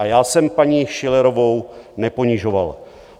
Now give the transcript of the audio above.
A já jsem paní Schillerovou neponižoval.